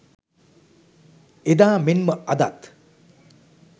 එදා මෙන්ම අදත්